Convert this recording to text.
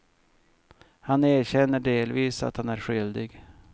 Han erkänner delvis att han är skyldig.